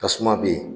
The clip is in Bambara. Tasuma bɛ yen